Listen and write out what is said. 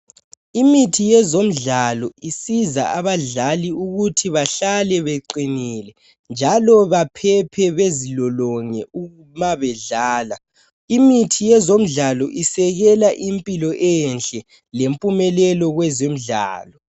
Imithi yezomdlalo isiza abadlali ukuthi behlale beqinile, njalo bephephe bezilolonge mabedlala. Imithi yezomdlalo isekela impilo enhle, lempumelelo kwezemidlalo.